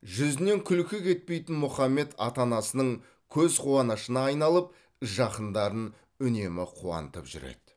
жүзінен күлкі кетпейтін мұхаммед ата анасының көз қуанышына айналып жақындарын үнемі қуантып жүреді